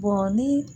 ni